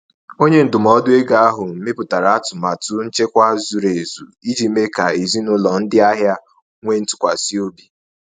Onye ndụmọdụ ego ahụ mepụtara atụmatụ nchekwa zuru ezu iji mee ka ezinụlọ ndị ahịa nwee ntụkwasị obi.